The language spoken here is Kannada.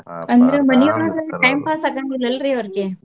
time pass ಆಗಾಂಗಿಲ್ಲ ಅಲ್ರಿ ಅವ್ರಿಗೆ.